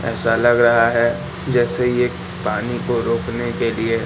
ऐसा लग रहा है जैसे ये पानी को रोकने के लिए--